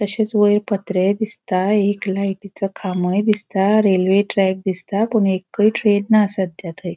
ताशेच वयर पत्रे दिसता एक लायटिचो खामोय दिसता रेल्वे ट्रॅक दिसता पुन एकय ट्रेन ना सद्या थंय.